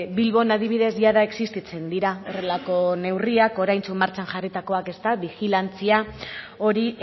bilbon adibidez jada existitzen dira horrelako neurriak oraintxu martxan jarritakoak bigilantzia hori